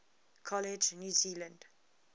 college new zealand